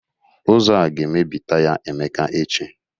Ụzọ a ga-emebi taya Emeka echi